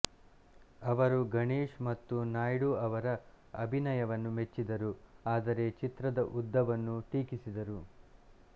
ಅವರು ಗಣೇಶ್ ಮತ್ತು ನಾಯ್ಡು ಅವರ ಅಭಿನಯವನ್ನು ಮೆಚ್ಚಿದರು ಆದರೆ ಚಿತ್ರದ ಉದ್ದವನ್ನು ಟೀಕಿಸಿದರು